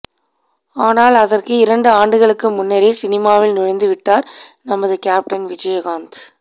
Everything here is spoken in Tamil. ஆனால் அதற்கு இரண்டு ஆண்டுகளுக்கு முன்னரே சினிமாவில் நுழைந்து விட்டார் நமது கேப்டன் விஜயகாந்த்